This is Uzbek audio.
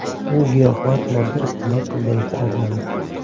U giyohvand modda iste’mol qilganlikda ayblandi.